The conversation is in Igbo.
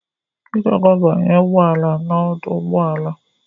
Ị ga-aga banye ụgbọ ala n'ọdụ ụgbọ ala.